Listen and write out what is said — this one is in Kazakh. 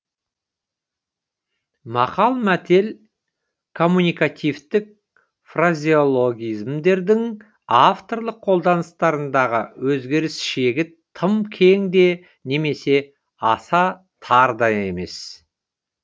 мақал мәтел коммуникативтік фразеологизмдердің авторлық қолданыстарындағы өзгеріс шегі тым кең де немесе аса тар да емес